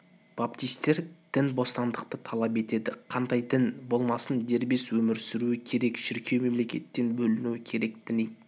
баптистер діни бостандықты талап етеді қандай бір дін болмасын дербес өмір сүруі керек шіркеу мемлекеттен бөлінуі керек діни